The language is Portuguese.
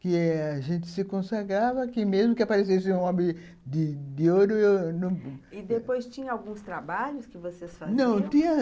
Que a gente se consagrava, que mesmo que aparecesse um homem de de ouro... E depois tinha alguns trabalhos que vocês faziam? não, tinha